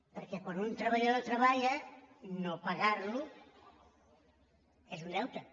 perquè quan un treballador treballa no pagar·lo és un deute